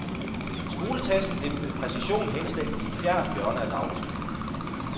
Skoletasken blev med præcision henslængt i et fjernt hjørne af dagligstuen.